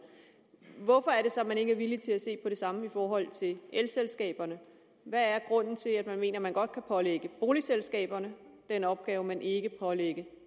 hvorfor er det så at man ikke er villig til at se på det samme i forhold til elselskaberne hvad er grunden til at man mener at man godt kan pålægge boligselskaberne den opgave men ikke kan pålægge